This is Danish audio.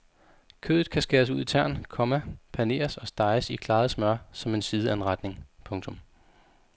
Kødet kan skæres ud i tern, komma paneres og steges i klaret smør som en sideanretning. punktum